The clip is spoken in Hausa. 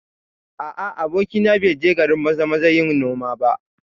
A'a, abokina bai je garin Maza-maza yin noma ba